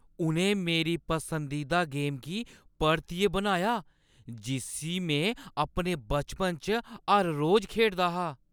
उʼनें मेरी पसंदीदा गेमा गी परतियै बनाया जिस्सी में अपने बचपन च हर रोज खेढदी ही!